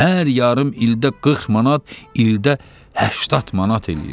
Hər yarım ildə 40 manat, ildə 80 manat eləyir.